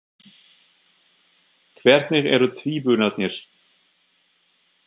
Hvernig eru tvíburarnir?